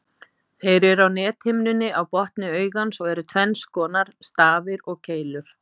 Þeir eru á nethimnunni á botni augans og eru tvenns konar, stafir og keilur.